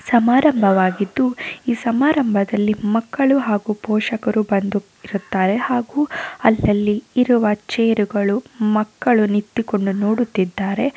ಸಮಾರಂಭವಾಗಿದ್ದು ಈ ಸಮಾರಂಭದಲ್ಲಿ ಮಕ್ಕಳು ಹಾಗು ಪೋಷಕರು ಬಂದು ಇರುತ್ತಾರೆ ಹಾಗು ಅಲ್ಲಲ್ಲಿ ಇರುವ ಚೇರ್ ಗಳು ಮಕ್ಕಳು ನಿಂತು ಕೊಂಡು ನೋಡುತ್ತಿದಾರೆ.